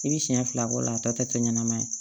I bi siɲɛ fila k'o la a tɔ tɛ to ɲanama ye